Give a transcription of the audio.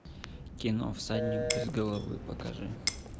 кино всадник без головы покажи